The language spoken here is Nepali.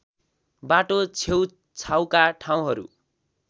बाटो छेउछाउका ठाउँहरू